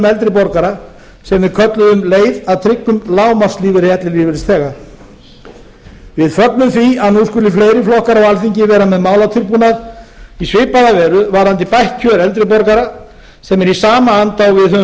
eldri borgara sem við kölluðum leið að tryggum lágmarkslífeyri ellilífeyrisþega við fögnum því að nú skuli fleiri flokkar á alþingi vera með málatilbúnað í svipaða veru varðandi bætt kjör eldri borgara sem er í sama anda og við höfum